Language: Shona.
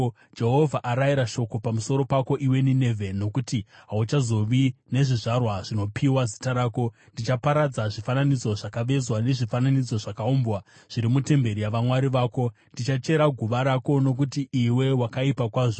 Jehovha arayira shoko pamusoro pako, iwe Ninevhe, rokuti, “Hauchazovi nezvizvarwa zvinopiwa zita rako. Ndichaparadza zvifananidzo zvakavezwa nezvifananidzo zvakaumbwa, zviri mutemberi yavamwari vako. Ndichachera guva rako, nokuti iwe wakaipa kwazvo.”